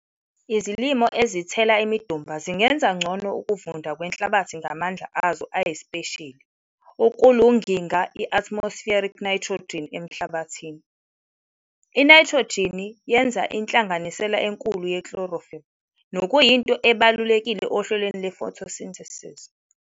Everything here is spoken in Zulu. Izilimo ezithela imidumba zingenza ngcono ukuvunda kwenhlabathi ngamandla azo ayisipesheli ukulunginga i-atmospheric nayithrojini enhlabathini. Inayithrojini yenza inhlanganisela enkulu ye-chlorophll, nokuyinto ebalulekile ohlelweni lwe-photosynthesis.